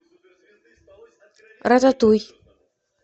рататуй